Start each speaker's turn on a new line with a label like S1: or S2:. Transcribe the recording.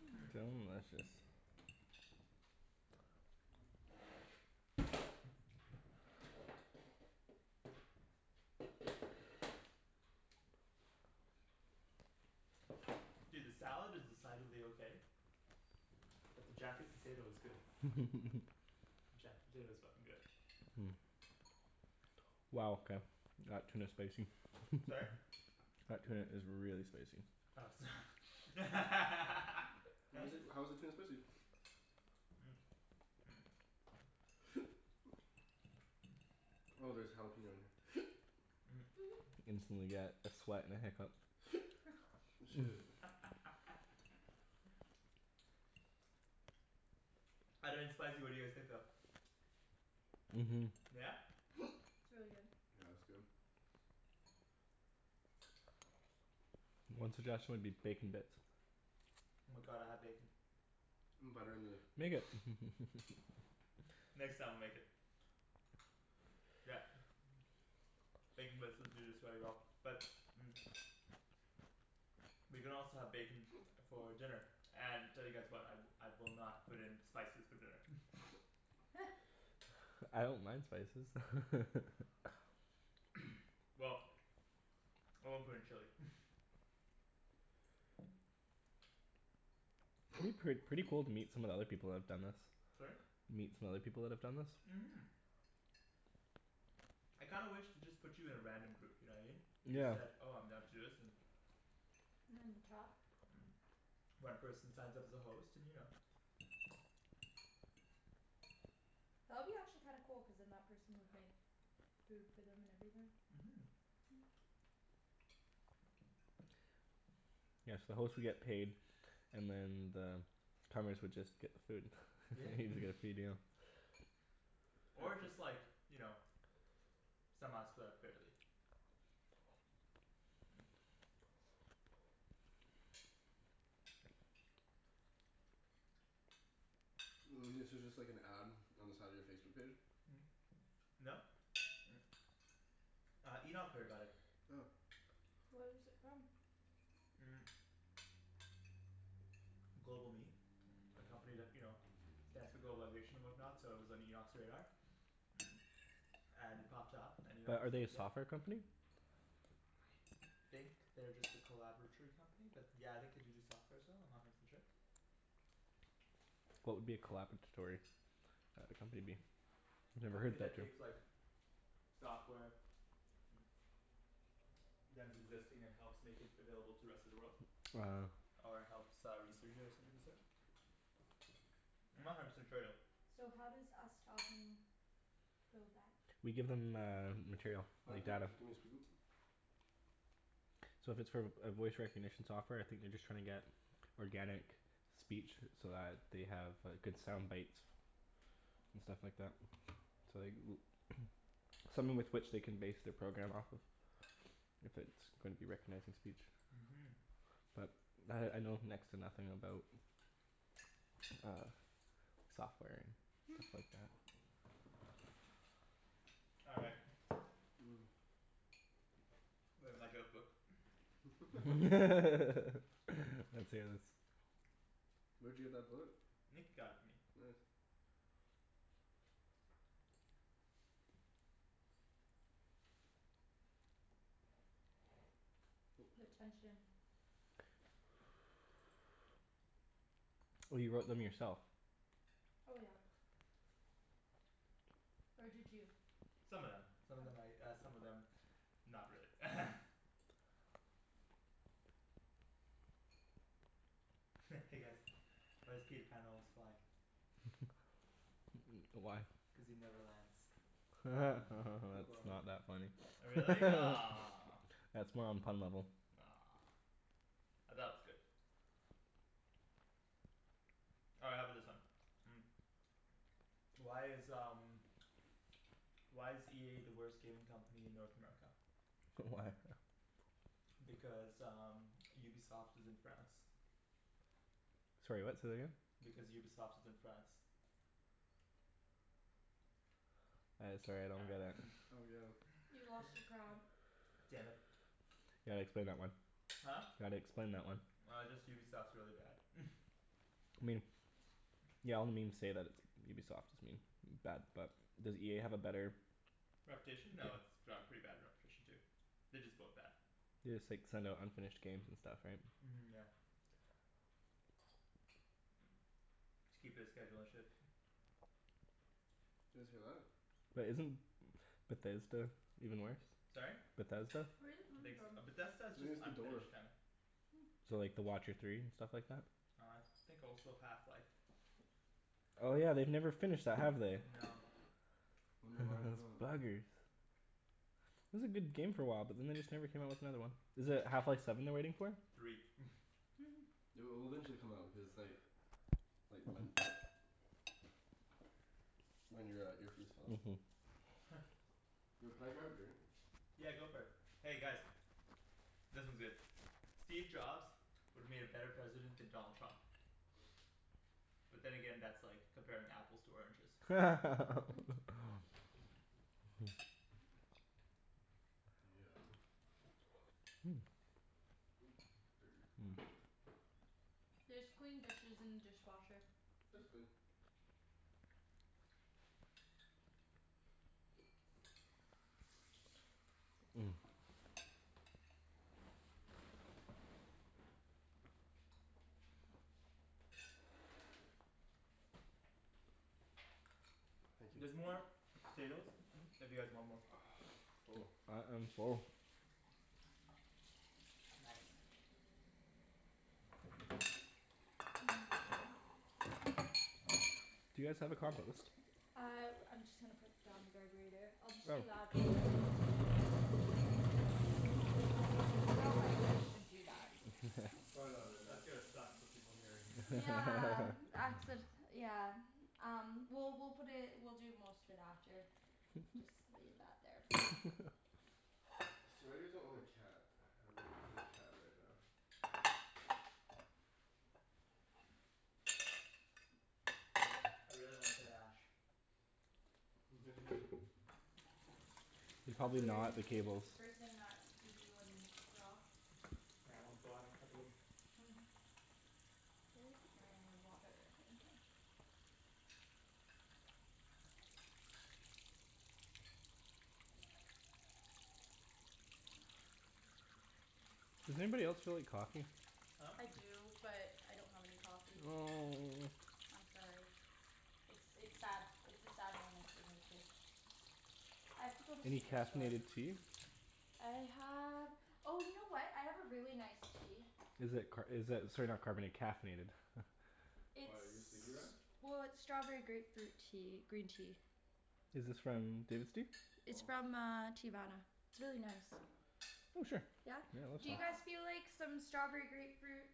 S1: Mmm.
S2: Hmm
S3: Delicious.
S2: Dude, this salad is decidedly okay. But the jacket potato is good. Jacket potato is fucking good.
S3: Wow okay. That tuna's spicy.
S2: Sorry?
S3: That tuna is really spicy.
S2: Oh so
S4: Why is it, how is the tuna spicy? Oh there's jalapeno in here.
S3: Instantly get a sweat and a hiccup.
S4: Shit.
S2: Other than spicy what do you guys think though?
S3: Mhm.
S2: Yeah?
S1: It's really good.
S4: Yeah it's good.
S3: One suggestion would be bacon bits.
S2: Oh my god, I have bacon.
S4: Butter in the
S3: Make it
S2: Next time I'll make it. Yeah. Bacon bits would do this very well but We can also have bacon for dinner and tell you guys what, I I will not put in spices for dinner
S3: I don't mind spices
S2: Well I won't put in chili
S3: It'd be pret- pretty cool to meet some of the other people that have done this.
S2: Sorry?
S3: Meet some other people that have done this?
S2: Mhm. I kinda wish they just put you in a random group, you know what I mean? You just
S3: Yeah.
S2: said "oh I'm down to do this" and
S1: talk
S2: One person signs up as a host and you know
S1: That would be actually kinda cool cuz then that person would make food for them and everything.
S2: Mhm.
S1: Hmm
S3: Yeah so the host would get paid and then the would just get the food.
S2: Yeah
S3: Not even gonna feed you.
S2: Or just like you know somehow split up fairly.
S4: This is just like an ad on the side of your Facebook page?
S2: No. Uh, Enoch heard about it.
S4: Oh.
S1: Where is it from?
S2: GlobalMe A company that, you know globalization and whatnot so it was on Enoch's radar. And it popped up and Enoch
S3: Are
S2: was
S3: are they a
S2: like "yeah."
S3: software company?
S2: I think they're just a collaboratory company but yeah I think do do softwares though, I'm not a hundred percent sure.
S3: What would be a collaboratory Uh a company be?
S2: A
S3: Never
S1: Never
S2: company
S3: heard
S1: heard
S2: that
S3: that
S1: that
S3: term.
S2: takes
S1: term.
S2: like software that is existing and helps make it available to rest of the world.
S3: Uh
S4: Ah.
S2: Or helps uh research it or something of the sort. I'm not a hundred percent sure though.
S1: So how does us talking build that?
S3: We give them uh material. Like data.
S4: gimme a spoon?
S3: So if it's for a voice recognition software I think they're just trying to get organic speech so that they have good sound bites. And stuff like that. So like
S1: Hmm.
S3: something with which they can base their program off of. If it's going to be recognizing speech.
S2: Mhm.
S3: But I I know next to nothing about uh software and
S1: Hmm.
S3: stuff like that.
S2: All right.
S4: Mm.
S2: Where's my joke book?
S3: Let's hear this.
S4: Where'd you get that book?
S2: Nick got it for me.
S4: Nice. Oh,
S1: The
S4: sorry.
S1: tension.
S3: Oh you wrote them yourself.
S1: Oh yeah. Or did you?
S2: Some of them. Some of them
S1: Oh.
S2: I uh some of them not really Hey guys, why does Peter Pan always fly?
S3: Why?
S2: Cuz he never lands.
S3: That's
S4: Wow.
S3: not that funny.
S2: Oh really? Aw
S3: That's more on pun level.
S2: Aw I thought it was good All right how about this one? Why is um why is EA the worst gaming company in North America?
S3: Why?
S2: Because um Ubisoft is in France.
S3: Sorry what? Say that again?
S2: Because Ubisoft is in France.
S3: I sorry I
S2: All
S3: don't get it.
S2: right
S4: Oh yeah.
S1: You lost your crowd.
S2: Damn it.
S3: You gotta explain that one.
S2: Huh?
S3: Gotta explain that one.
S2: Uh just Ubisoft's really bad
S3: I mean. Yeah all the memes say that it's Ubisoft is I mean bad but does EA have a better
S2: Reputation? No, it's
S3: Yeah
S2: they have a pretty bad reputation too. They're just both bad.
S3: They just like send out unfinished games and stuff right?
S2: Mhm yeah. To keep their schedule and shit.
S4: Did you guys hear that?
S3: But isn't Bethesda even worse?
S2: Sorry?
S3: Bethesda?
S1: Where is it
S2: I
S1: coming
S2: think s- .
S1: from?
S2: But Bethesda's
S4: I
S2: just
S4: think it's the door.
S2: unfinished kinda
S1: Hmm.
S3: So like The Watcher Three and stuff like that?
S2: I think also Half Life.
S3: Oh yeah, they've never finished that, have they?
S2: No.
S4: Wonder why, no.
S3: Those buggers. It was a good game for a while but then they just never came out with another one. Is it Half Life Seven they're waiting for?
S2: Three
S4: It'll it'll eventually come out, cuz it's like Like Ryan your uh earpiece fell out. Yo can I grab a drink?
S2: Yeah, go for it. Hey guys This one's good. Steve Jobs would've made a better president than Donald Trump. But then again, that's like comparing apples to oranges.
S4: Yeah. Oop, dirty.
S1: There's clean dishes in the dishwasher.
S4: It's clean. Thank you.
S2: There's more potatoes if you guys want more.
S3: I I'm full.
S2: Nice.
S3: Do you guys have a compost?
S1: I I'm just gonna put it down the garburator. I'll just be loud
S3: Oh.
S1: know if I should even do that.
S4: Probably
S2: That's
S4: not good,
S2: gonna
S4: no.
S2: suck for people hearing
S1: Yeah accid- yeah Um well we'll put it, we'll do most of it after. Just leave that there for now.
S4: It's too bad you guys don't own a cat. I would love to play with a cat right now.
S2: I really want a tight ash.
S4: Yeah.
S3: They're
S1: That's
S3: probably
S1: what you're
S3: not
S1: gonna
S3: the
S1: do?
S3: cables.
S1: The first thing that you do when we're off?
S2: Yeah I wanna go out and cuddle him.
S1: Hmm. Where's my water
S3: Does anybody else feel like coffee?
S2: Huh?
S1: I do but I don't have any coffee.
S3: Oh.
S1: I'm sorry. It's it's sad, it's a sad moment for me too. I have to go to
S3: Any
S1: Superstore.
S3: caffeinated tea?
S1: I have, oh you know what? I have a really nice tea.
S3: Is it car- is it sorry not carbona- caffeinated?
S4: Why, are you sleepy
S1: It's
S4: Ryan?
S1: well, it's strawberry grapefruit tea, green tea.
S3: Is this from David's Tea?
S1: It's from uh Teavana. It's really nice.
S3: Oh sure. Yeah
S1: Yeah?
S3: I'd love
S1: Do
S3: some.
S1: you guys feel like some strawberry grapefruit